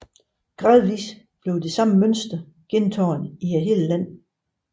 Gradvist blev det samme mønster gentaget i hele landet